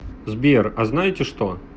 сбер а знаете что